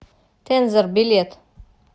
тензор билет